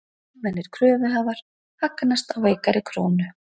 Almennir kröfuhafar hagnast á veikari krónu